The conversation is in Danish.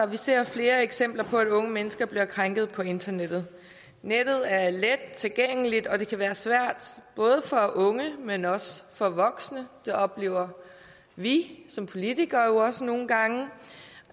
vi ser flere eksempler på at unge mennesker bliver krænket på internettet nettet er let tilgængeligt og det kan være svært både for unge men også for voksne det oplever vi som politikere også nogle gange